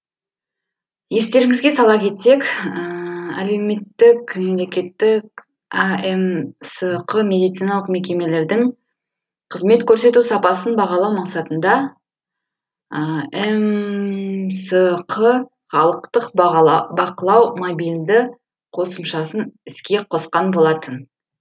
естеріңізге сала кетсек әмсқ медициналық мекемелердің қызмет көрсету сапасын бағалау мақсатында мсқ халықтық бақылау мобилді қосымшасын іске қосқан болатын